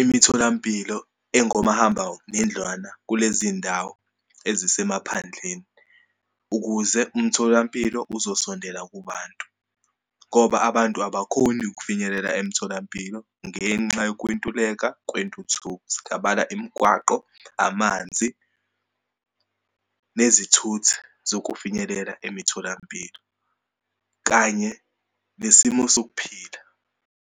imitholampilo engomahamba nendlwana kulezindawo ezisemaphandleni ukuze umtholampilo uzosondela kubantu, ngoba abantu abakhoni ukufinyelela emtholampilo ngenxa yokwentuleka kwentuthuko. Singabala imigwaqo, amanzi, nezithuthi zokufinyelela emitholampilo, kanye nesimo sokuphila.